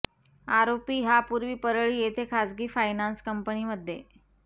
आरोपी हा पुर्वी परळी येथे खाजगी फायनान्स कंपनी मध्ये